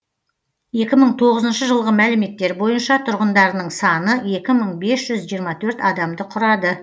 екі мың тоғызыншы жылғы мәліметтер бойынша тұрғындарының саны екі мың бес жүз жиырма төрт адамды құрады